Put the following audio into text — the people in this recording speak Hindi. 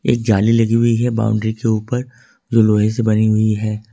जाली लगी हुई है बाउंड्री के ऊपर जो लोहे से बनी हुई है।